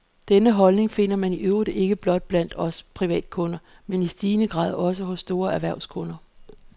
Denne holdning finder man i øvrigt ikke blot blandt os privatkunder, men i stigende grad også hos store erhvervskunder.